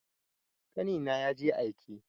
Ƙanina ya je aike.